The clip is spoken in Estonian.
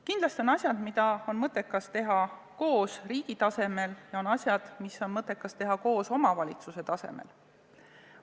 Kindlasti on asjad, mida on mõttekas teha koos riigi tasemel, ja on asjad, mis on mõttekas teha koos omavalitsuse tasemel.